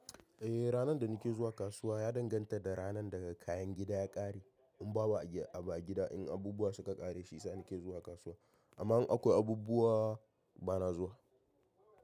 Eh ranar da nake zuwa kasuwa ya danganta da ranar da kayan gida ya ƙare. In babu a gida, in abubuwa suka ƙare, shiyasa nake zuwa kasuwa. Amma in akwai abubuwa bana zuwa.